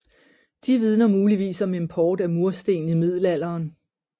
De vidner muligvis om import af mursten i middelalderen